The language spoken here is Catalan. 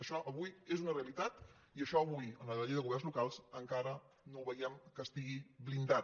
això avui és una realitat i això avui en la llei de governs locals encara no veiem que estigui blindat